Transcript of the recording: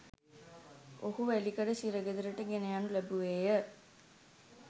ඔහු වැලිකඩ සිරගෙදරට ගෙනයනු ලැබුවේය